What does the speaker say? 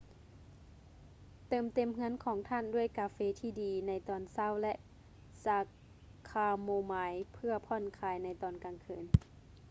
ເຕີມເຕັມເຮືອນຂອງທ່ານດ້ວຍກາເຟທີ່ດີໃນຕອນເຊົ້າ ແລະ ຊາຄາໂມມາຍເພື່ອຜ່ອນຄາຍໃນຕອນກາງຄືນ